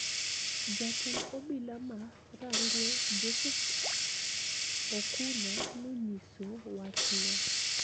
Jatend obila ma Rangwe, Joseph Okuna, nonyiso wachno,